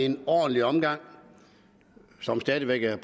en ordentlig omgang som stadig væk er